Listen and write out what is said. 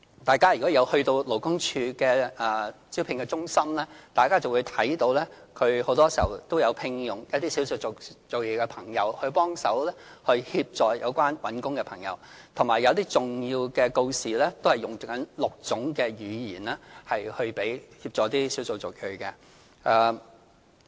大家如果曾到過勞工處的招聘中心，便會看到很多時候都有聘用少數族裔的朋友幫忙協助求職人士，以及有些重要的告示也使用6種語言，以協助少數族裔。